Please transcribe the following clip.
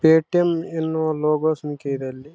ಒಂದು ಲ್ಯಾಪ್ಟಾಪ್ ಕಾಣ್ತಾಯಿದೆ ಒಬ್ಬ ಮನುಷ್ಯ ಕಾಣ್ತಾ ಇದೆ.